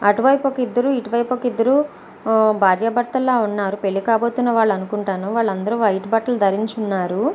అటు వైపు ఒక ఇద్దరు ఇటు వైపు ఒక ఇద్దరు భార్య భర్తలు లాగా ఉన్నారు పెళ్లి కాబోతున్న వాళ్ళు అనుకుంటాను వాళ్ళందరూ వైట్ బట్టలు ధరించి ఉన్నారు .